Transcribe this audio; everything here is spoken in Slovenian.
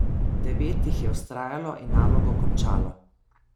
Devet jih je vztrajalo in nalogo končalo.